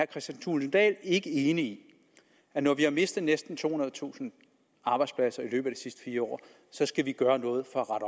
kristian thulesen dahl ikke enig i at når vi har mistet næsten tohundredetusind arbejdspladser i løbet sidste fire år skal vi gøre noget for at